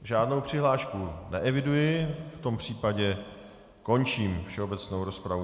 Žádnou přihlášku neeviduji, v tom případě končím všeobecnou rozpravu.